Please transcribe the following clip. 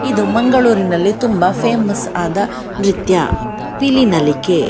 ಇದು ಮಂಗಳೂರಿನಲ್ಲಿ ತುಂಬಾ ಫೇಮಸ್ ಆದ ನ್ರತ್ಯ ಪಿಲಿನಲಿಕೆ.